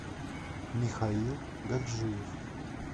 михаил гаджиев